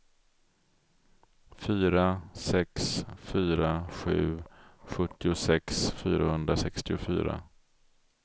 fyra sex fyra sju sjuttiosex fyrahundrasextiofyra